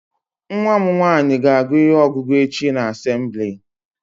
Nwa mụ nwaanyị ga agụ ihe ọgụgụ echi na assembli